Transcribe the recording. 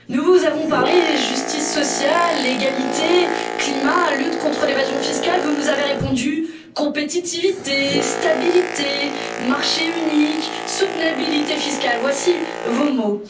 Nous vous avons parlé justice sociale, égalité, climat, lutte contre l'évasion fiscale, vous nous avez répondu compétitivité, stabilité, marché unique, soutenabilité fiscale, voici vos mots.